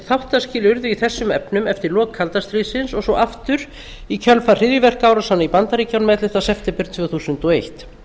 þáttaskil urðu í þessum efnum eftir lok kalda stríðsins og svo aftur í kjölfar hryðjuverkaárásanna í bandaríkjunum ellefta september tvö þúsund og eitt